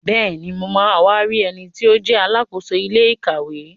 Bẹ́ẹ̀ni, mo ma wá rí ẹniti ó jẹ́ Alákóso ilé ìkàwé